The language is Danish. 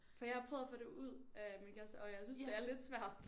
For jeg har prøvet at få det ud af min kæreste og jeg synes det er lidt svært